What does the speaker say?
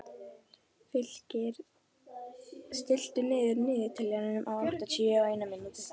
Fylkir, stilltu niðurteljara á áttatíu og eina mínútur.